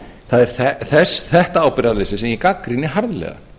það er þetta ábyrgðarleysi sem ég gagnrýni harðlega